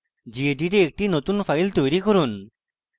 মৌলিক স্তর ruby tutorials প্রদর্শিত gedit a একটি নতুন file তৈরি করুন